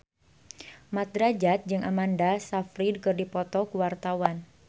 Mat Drajat jeung Amanda Sayfried keur dipoto ku wartawan